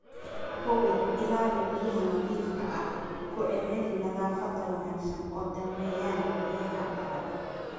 Hubi ilaha biyaha nadiifka ah, ku celceli nadaafadda wanaagsan, oo daweeyaan biyaha la cabbo.